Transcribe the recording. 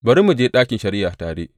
Bari mu je ɗakin shari’a tare!